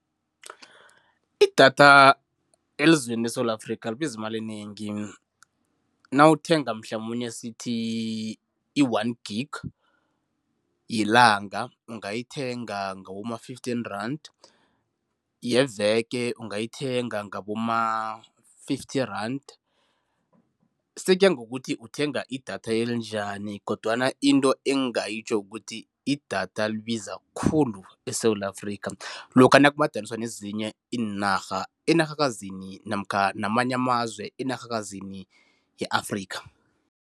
Idatha elizweni leSewula Afrika libiza imali enengi. Nawuthenga mhlamunye asithi i-one gig yelanga, ungayithenga ngaboma-fifteen, yeveke ungayithenga ngaboma-fifty brand sekuya ngokuthi uthenga idatha elinjani kodwana into engingayitjho kukuthi idatha libiza khulu eSewula Afrika lokha nakumadaniswa nezinye iinarha, enarhakazini namkha namanye amazwe enarhakazini ye-Afrika.